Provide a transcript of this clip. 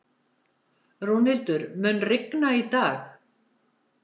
Rúnhildur, mun rigna í dag?